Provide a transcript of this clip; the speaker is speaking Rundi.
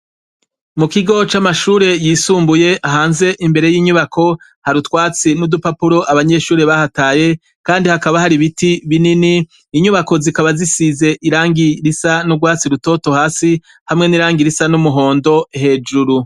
Mu kigo c’amashure yisumbuye hanze imbere y’inyubako hari utwatsi n’udupapuro abanyeshure bahataye kandi hakaba hari ibiti binini inyubako zikaba zisize irangi risa nurwatsi rutoto hasi hamwe n’irangi risa n’umuhondo hejuru.